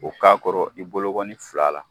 O k'a kɔrɔ i bogɔni fila la.